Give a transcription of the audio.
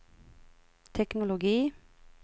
teknologi